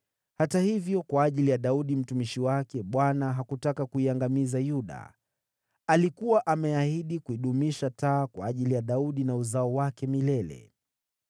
Hata hivyo, kwa ajili ya Daudi mtumishi wake, Bwana hakutaka kuiangamiza Yuda. Alikuwa ameahidi kuidumisha taa kwa ajili ya Daudi na wazao wake milele.